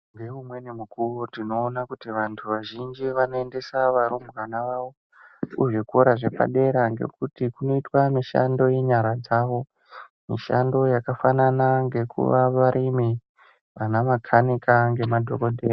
Ngeumweni mukuwo tinoona kuti vantu vazhinji vanoendesa varumbwana vavo kuzvikora zvepadera ngekuti kunoitwa mishando yenyara dzawo mishando yakafanana ngekuva varimi ana makanika ngemadhokodheya.